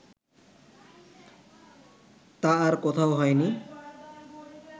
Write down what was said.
তা আর কোথাও হয় নি